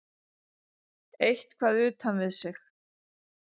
Eitthvað utan við sig.